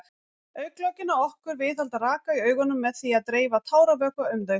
Augnlokin á okkur viðhalda raka í augunum með því að dreifa táravökva um þau.